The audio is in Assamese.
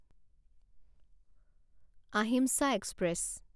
আহিমচা এক্সপ্ৰেছ